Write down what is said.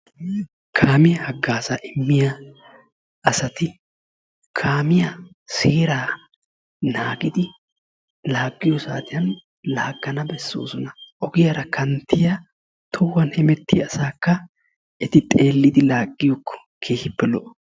kaamiyaa hagaazza immiya asati kaamiyaa seeraa naagidi laaggiyo saatiyaan laaggana beessoosona. ogiyaara kanttiyaa, tohuwan hemettiyaa asakka eti xeellidi laaggiyakko keehippe lo''o.